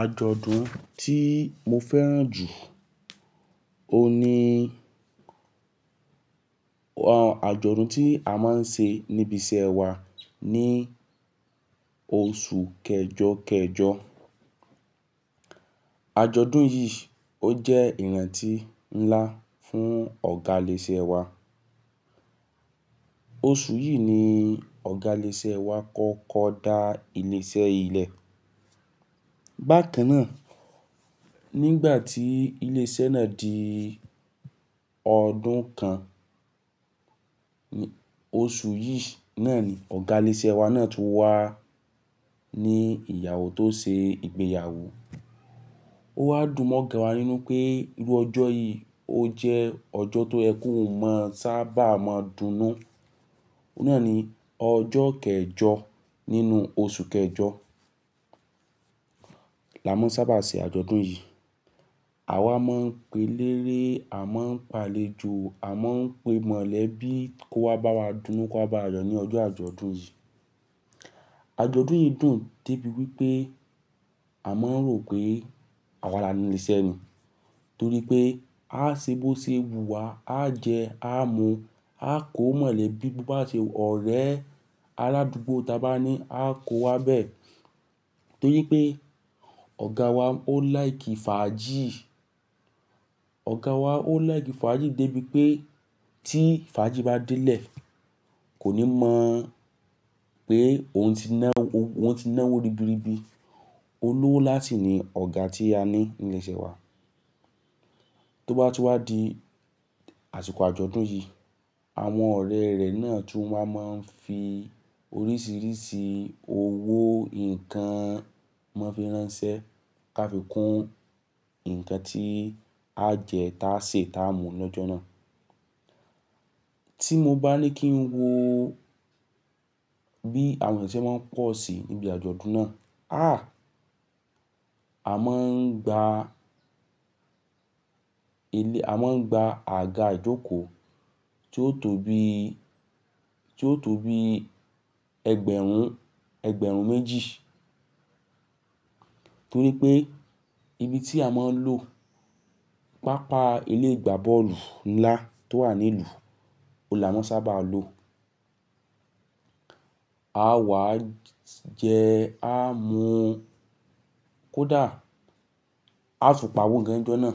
Àjọ̀dún tí mo fẹ́ràn jù, o ní àjọ̀dún tí a máa ń ṣe níbi iṣẹ́ wa ní oṣù kẹjọ kẹjọ. Àjọ̀dún yìí ó jẹ́ ìrántí ńlá fún ọ̀gá ilé iṣẹ́ wa. Oṣù yìí ni ọ̀gá ilé iṣẹ́ wa kọ́kọ́ dá ilé iṣẹ́ yìí lẹ̀. Bákan náà, nígbà tí ilé iṣẹ́ náà di ọdún kan, oṣù yìí náà ni ọ̀gá ilé iṣẹ́ wa náà tún wá ní ìyàwó tó ṣe ìgbéyàwó. Ó wá dùn mọ́ ọ̀gá wa nínú pé irú ọjọ́ yìí ó jẹ́ ọjọ́ tó yẹ òun mọ̀ sábà máa dúnú. Ó náà ni ọjọ́ kẹjọ nínú oṣù kẹjọ la máa ń sábà ṣe àjọ̀dún yìí. Àwa máa ń pe léré, à máa ń pé àlejò, à máa ń pe mọ̀lẹ́bí kó wá bá wa dúnú, kó wá bá wa yọ̀ ní ọjọ́ àjọ̀dún yìí. Àjọ̀dún yìí dùn débi wípé a máa ń rò pé àwa là ní ilé iṣẹ́ ni. Torí pé á ṣebọ̀ṣe wùwà, á jẹ́, á mu, á kó mọ̀lẹ́bí bó bá ṣe ọ̀rẹ́ aládùúgbò tí a bá ní, á kó wa bẹ. Torí pé ọ̀gá wa ó like fàájì. Ọ̀gá wa ó like fàájì débi pé tí fàájì bá dé lè, kò ní mọ̀ pé òun ti náwó, òun ti náwó ribiribi. Olówó láti ni ọ̀gá tí a ní ní ilé iṣẹ́ wa. Tó bá ti wá di àsìkò àjọ̀dún yìí, àwọn ọ̀rẹ́ rẹ̀ náà tún wá máa ń fi oríṣiríṣi owó, ǹkan wọn fi ránṣẹ́, ká fi kún ǹkan tí á jẹ, tá ṣè, tá mú lọ́jọ́ náà. Tí mo bá ní kí n wo bí àwọn èèyàn ṣe máa ń pọ̀ sí níbi àjọ̀dún náà. Àh! A máa ń gba ilé, a máa ń gba àga ìjókòó tí ó tó bí, tí ó tó bí ẹgbẹ̀rún, ẹgbẹ̀rún méjì. Torí pé ibi tí a máa ń lò, pápá ilé ìgbá bọ́ọ̀lù ńlá tó wà ní ìlú, olè a máa ń sábà lò. A wá jẹ́, á mu kódà, á tún pa owó gan lọ́jọ́ náà.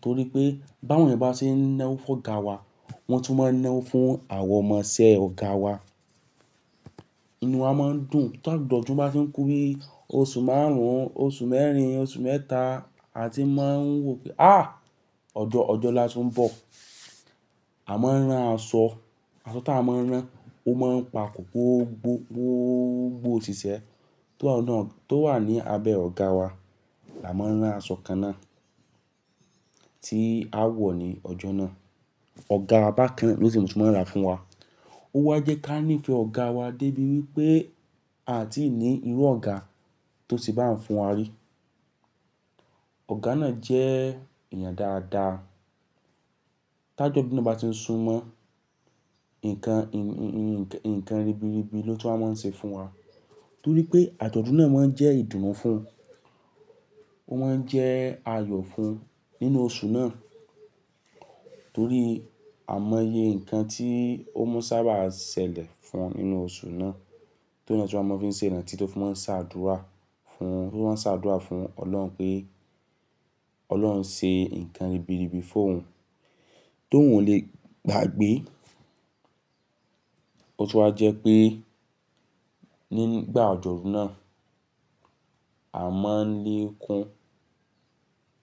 Torí pé báwọn kò bá ṣe náwó fún ọ̀gá wa, wọ́n tún máa ń náwó fún àwọn ọmọ iṣẹ́ ọ̀gá wa. Inú wa máa ń dùn tá jọ̀dún bá ti ń kú bí oṣù márùn-ún, oṣù mẹ́rin, oṣù mẹ́ta, a ti máa ń wò pé àh! Ọjọ́, ọjọ́ la tún ń bọ̀. A máa ń rán aṣọ. Aṣọ tí a máa ń rán, ó máa ń pa kòkó gbó, gbó gbó ṣíṣẹ́ tó wà ní abẹ ọ̀gá wa. Là máa ń rán aṣọ kan náà tí a wọ̀ ní ọjọ́ náà. Ọ̀gá abákán náà ló ti máa ń ra fún wa. Ó wá jẹ́ ká ní ìfẹ́ ọ̀gá wa débi wípé a ò tí ì ní irú ọ̀gá tó ṣe bá ń fún wa rí. Ọ̀gá náà jẹ́ èèyàn dáadáa. Tá ìjọ̀dún bá ti ń sunmọ́, ǹkan, ǹkan ribiribi ló ti wá máa ń ṣe fún wa. Torí pé àjọ̀dún náà máa ń jẹ́ ìdùnrú fún, ó máa ń jẹ́ ayọ̀ fún nínú oṣù náà. Torí a mọye ǹkan tí ó mú sábà ṣẹlẹ̀ fún un nínú oṣù náà. Torí náà tí wọ́n máa ń fi ṣe ìrántí tí wọ́n máa ń ṣàdúrà fún, tí wọ́n máa ń ṣàdúrà fún Ọlọ́run pé Ọlọ́run ṣe ǹkan ribiribi fún òun tí òun ò le gbàgbé. Ó tún wá jẹ́ pé nígbà àjọ̀dún náà, a máa ń lé kún,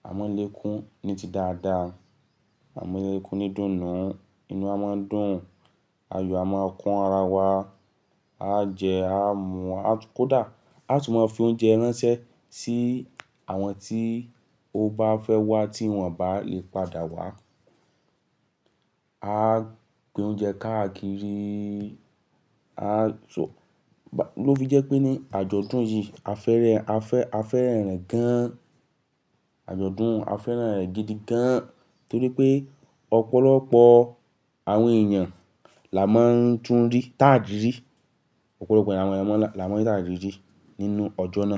a máa ń lé kún ní ti dáadáa. A máa ń lé kún ní dùnnú. Inú a máa ń dùn, ayọ̀ a máa kún ara wa. A jẹ́, á mu kódà, a tún máa ń fi oúnjẹ ránṣẹ́ sí àwọn tí ó bá fẹ́ wá tí wọ́n bá lè padà wá. A gbé oúnjẹ káàkiri. A so-- ló fi jẹ́ pé ní àjọ̀dún yìí a fẹ́rẹ̀, a fẹ́, a fẹ́rẹ̀ rẹ̀ gan. Àjọ̀dún a fẹ́ràn rẹ̀ gidi gan torí pé ọ̀pọ̀lọpọ̀ àwọn èèyàn là máa ń tún rí, táàjì rí. Ọ̀pọ̀lọpọ̀ àwọn èèyàn là máa ń tààjì rí nínú ọjọ́ náà.